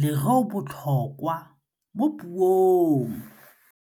lêrêôbotlhôkwa mo puong.